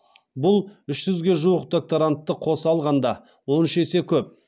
бұл үш жүзге жуық докторантты қоса алғанда он үш есе көп